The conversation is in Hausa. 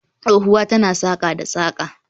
Tsohuwa tana saƙa da saƙa